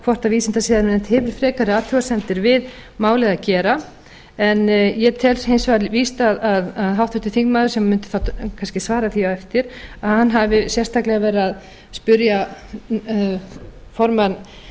hvort vísindasiðanefnd hefur frekari athugasemdir við málið að gera en ég tel hins vegar víst að háttvirtur þingmaður sem mundi þá kannski svara því á eftir að hann hafi sérstaklega verið að spyrja formann